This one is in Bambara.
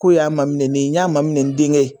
Ko y'a maminɛnen ye n y'a maminɛ n denkɛ ye.